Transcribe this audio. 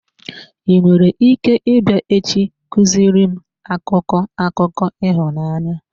I nwere ike ịbịa echi ị kuziri m akụkọ akụkọ ịhụnanya?